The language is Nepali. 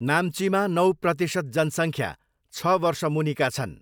नाम्चीमा नौ प्रतिशत जनसङ्ख्या छ वर्ष मुनिका छन्।